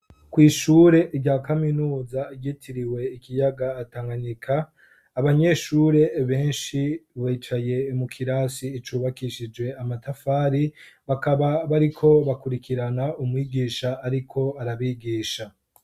Kw' ishure rya kaminuza ryitiriwe Ikiyaga Tanganyika, abanyeshure benshi bicaye mu kirasi cubakishije amatafari bakaba bariko bakurikirana umwigisha ariko arabigisha.